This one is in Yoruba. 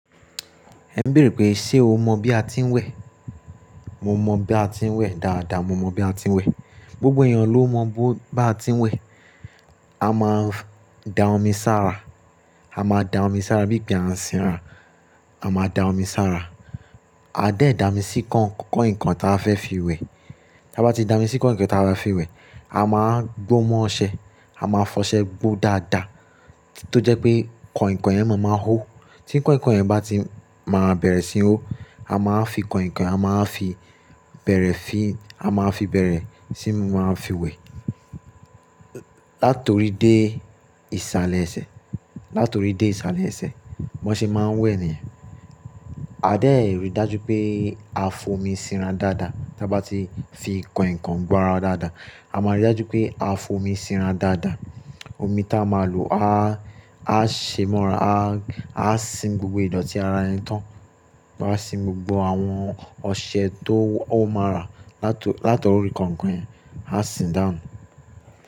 Ẹ ń béèrè pé, ṣe o mọ̀ bí a ti ń wẹ̀? Mo mọ̀ bí a ti ń wẹ̀ dáadáa, mo mọ̀ bí a ti ń wẹ̀. Gbogbo èèyàn ló mọ bí a ti ń wẹ̀. A máa da omi sára, a máa da omi sára, bí ìpe à ń sinra, a máa da omi sára. A dẹ̀ dámi sí kàinkàin tí a fẹ́ fi wẹ̀. Tí a bá ti dá omi sí kàinkàin tí a fẹ́ fi wẹ̀, a máa wa gbó mọ́ ọṣẹ, a máa fọṣẹ gbó dáadáa tó jẹ́ pé kàinkàin yẹn máa máa hó. Tí kàinkàin yẹn bá ti máa bẹ̀rẹ̀ sí ń hó, a máa fi kàinkàin, a máa fi bẹ̀rẹ̀ fí, a máa fi bẹ̀rẹ̀ sí máa fi wẹ̀. Látorí dé ìsàlẹ̀ ẹsẹ̀, látorí dé ìsàlẹ̀ ẹsẹ̀, bọ́ ṣe máa ń wẹ̀ nìyẹn. A dẹ̀ rí dájú pé a f'omi sinra dáadáa. Tí a bá ti fi kàinkàin gbọ́ ara wa dáadáa, a máa rí dájú pé a f'omi sinra dáadáa. Omi tí a máa lò a, a ṣe mọ́ra, a, a sin gbogbo ìdọ̀tí ara yẹn tán. A sin gbogbo àwọn ọṣẹ tó ó má ra látorí, látorí kàinkàin yẹn, a sin dáhùn.